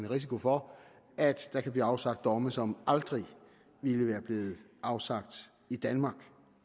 risiko for at der kan blive afsagt domme som aldrig ville være blevet afsagt i danmark